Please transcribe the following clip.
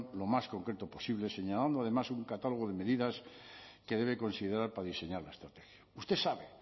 lo más concreto posible señalando además un catálogo de medidas que debe considerar para diseñar la estrategia usted sabe